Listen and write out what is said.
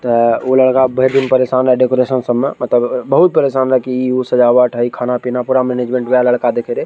त उ लड़का भेर दिन परेशान रहा डेकोरेशन सब में मतलब बहुत परेशान रहा की ई उ सजावट हई खाना पीना पूरा मैनेजमेंट वै लड़का देखे रै।